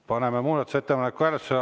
Paneme muudatusettepaneku hääletusele.